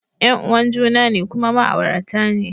Yan uwan juna ne kuma ma'aurata ne